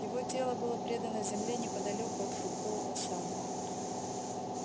его тело было предано земле неподалёку от фруктового сада